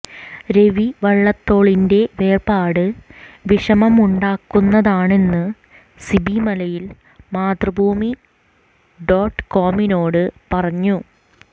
രവി വള്ളത്തോളിന്റെ വേർപാട് വിഷമമുണ്ടാക്കുന്നതാണെന്ന് സിബി മലയിൽ മാതൃഭൂമി ഡോട്ട്കോമിനോട് പറഞ്ഞു